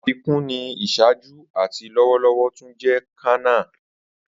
Afikun ni iṣaaju ati lọwọlọwọ tun jẹ kanna.